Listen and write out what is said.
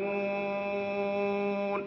يَفْقَهُونَ